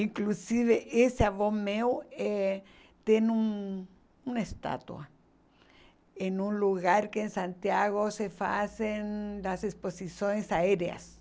Inclusive, esse avô meu eh tem um uma estátua em um lugar que em Santiago se fazem as exposições aéreas.